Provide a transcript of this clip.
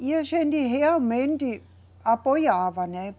E a gente realmente apoiava, né?